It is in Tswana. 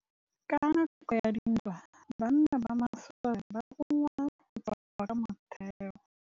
Ka nakô ya dintwa banna ba masole ba rongwa go tswa kwa mothêô.